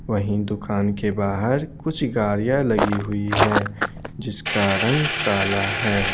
वहीं दुकान के बाहर कुछ गाड़ियां लगी हुई है जिसका रंग काला है।